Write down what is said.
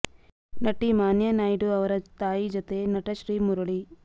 ನಟಿ ಮಾನ್ಯಾ ನಾಯ್ಡು ಅವರ ತಾಯಿ ಜತೆ ನಟ ಶ್ರೀ ಮುರಳಿ